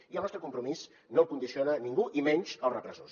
i el nostre compromís no el condiciona ningú i menys els repressors